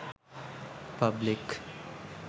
public